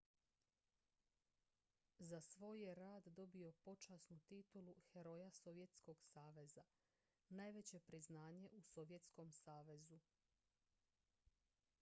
za svoj je rad dobio počasnu titulu heroja sovjetskog saveza najveće priznanje u sovjetskom savezu